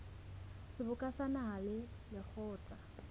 seboka sa naha le lekgotla